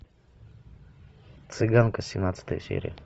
цыганка семнадцатая серия